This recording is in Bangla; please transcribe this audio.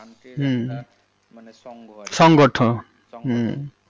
country plus মানে সঙ্গে আর